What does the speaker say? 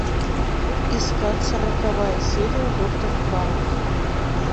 искать сороковая серия доктор хаус